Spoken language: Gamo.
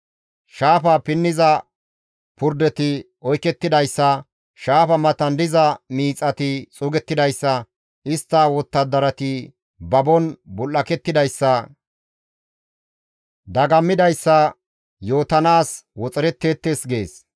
Shaafa pinniza purdeti oykettidayssa, shaafa matan diza miixati xuugettidayssa, istta wottadarati babon bul7akettidayssa, dagammidayssa yootanaas woxeretteettes» gees.